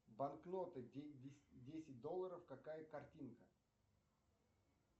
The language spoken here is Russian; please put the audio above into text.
банкноты десять долларов какая картинка